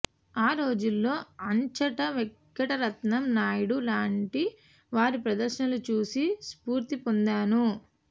ఆ రోజుల్లో ఆచంట వెంకటరత్నం నాయుడు లాంటి వారి ప్రదర్శనలు చూసి స్ఫూర్తిపొందాను